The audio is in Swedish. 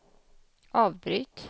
avbryt